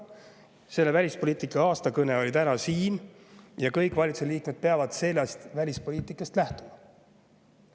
Aastakõne välispoliitika kohta oli täna siin ja kõik valitsuse liikmed peavad sellest välispoliitikast lähtuma.